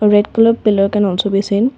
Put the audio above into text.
red colour pillar can also be seen.